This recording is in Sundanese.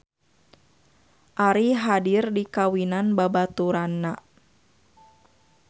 Ari hadir di kawinan babaturanna